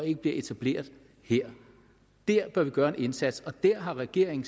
ikke bliver etableret her der bør vi gøre en indsats og der har regeringen